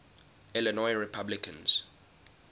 illinois republicans